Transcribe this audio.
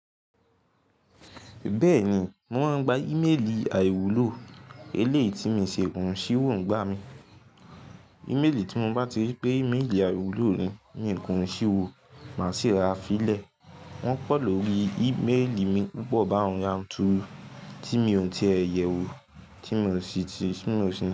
Bẹ́ẹ̀ni, wọ́n ń gba íméèlì àìwúlò. Eléèyi ti mi ṣie kùnsíwò ń gbá mi. Íméèlì tí mo bá ti ripé íméèlì àìwúlò ni mío kinsíwò, màá sì rara fílẹ̀. Wọ́n pọ̀ lórí íméèlì mi púpọ̀ bá òun yanturu tí mi ò tíe yẹ wo tí mò ń ṣi ti,